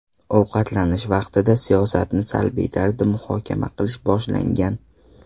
Ovqatlanish vaqtida siyosatni salbiy tarzda muhokama qilish boshlangan.